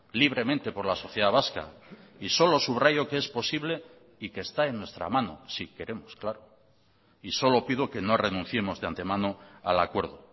libremente por la sociedad vasca y solo subrayo que es posible y que está en nuestra mano si queremos claro y solo pido que no renunciemos de ante mano al acuerdo